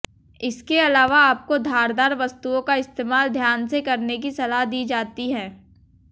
इसके अलावा आपको धारदार वस्तुओं का इस्तेमाल ध्यान से करने की सलाह दी जाती है